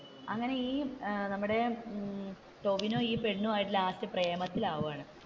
അപ്പൊ അങ്ങനെ ഈ നമ്മുടെ ടോവിനോ ഈ പെണ്ണുമായിട്ട് ലാസ്റ്റ് പ്രേമത്തിൽ ആവുകയാണ്.